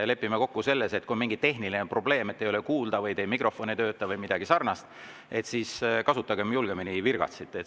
Lepime kokku, et kui on mingi tehniline probleem, kui ei ole kuulda või teie mikrofon ei tööta või midagi sarnast, siis kasutagem julgemini virgatsit.